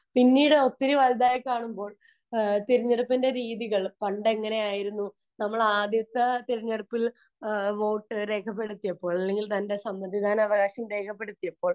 പിന്നീട് ഒത്തിരി വലുതായി കാണുമ്പോൾ തിരഞ്ഞെടുപ്പിന്റെ രീതികൾ പണ്ട് എങ്ങനെ ആയിരുന്നു നമ്മൾ ആദ്യത്തെ തിരഞ്ഞെടുപ്പിൽ വോട്ട് രേഖപ്പെടുത്തിയപ്പോൾ തന്റെ സമ്മതിദാനാവകാശം രേഖപ്പെടുത്തിയപ്പോൾ